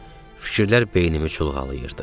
Fikirlər beynimi çulğalıyırdı.